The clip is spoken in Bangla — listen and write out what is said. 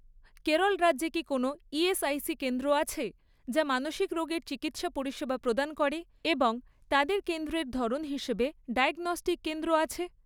কেরল রাজ্যে কি কোনও ইএসআইসি কেন্দ্র আছে, যা মানসিক রোগের চিকিৎসা পরিষেবা প্রদান করে এবং তাদের কেন্দ্রের ধরন হিসেবে ডায়াগনস্টিক কেন্দ্র আছে?